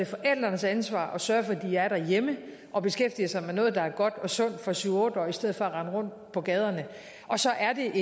forældrenes ansvar at sørge for at de er derhjemme og beskæftiger sig med noget der er godt og sundt for syv otte årige i stedet for at rende rundt på gaderne så er det